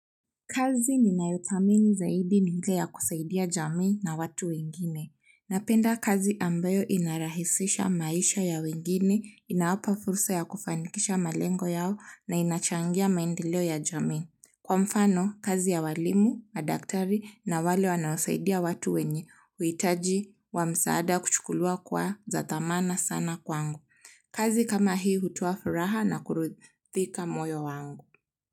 Kazi ninayothamini zaidi ni ile yakusaidia jamii na watu wengine napenda kazi ambayo inarahisisha maisha ya wengine, inawapa fursa ya kufanikisha malengo yao na inachangia maendeleo ya jamii. Kwa mfano, kazi ya walimu, madaktari na wale wanaosaidia watu wenye, uhitaji wa msaada kuchukuliwa kwa za dhamana sana kwangu. Kazi kama hii hutoa furaha na kurithika moyo wangu.